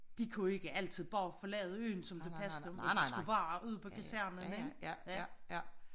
De kunne ikke altid bare forlade øen som det passede dem og de skulle være ude på kasernen ik